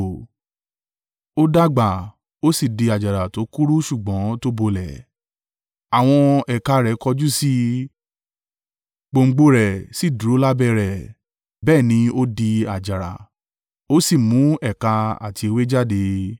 Ó dàgbà, ó sì di àjàrà tó kúrú ṣùgbọ́n to bolẹ̀. Àwọn ẹ̀ka rẹ̀ kọjú sí i, gbòǹgbò rẹ̀ sì dúró lábẹ́ rẹ̀, bẹ́ẹ̀ ni ó di àjàrà, ó sì mu ẹ̀ka àti ewé jáde.